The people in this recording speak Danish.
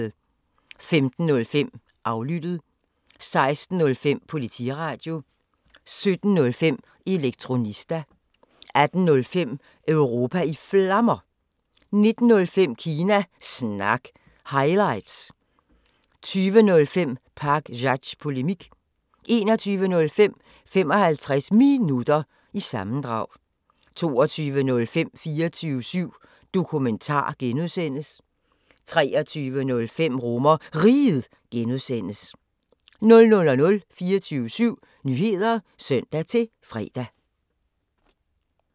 15:05: Aflyttet 16:05: Politiradio 17:05: Elektronista 18:05: Europa i Flammer 19:05: Kina Snak – highlights 20:05: Pakzads Polemik 21:05: 55 Minutter – sammendrag 22:05: 24syv Dokumentar (G) 23:05: RomerRiget (G) 00:00: 24syv Nyheder (søn-fre)